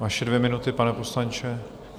Vaše dvě minuty, pane poslanče.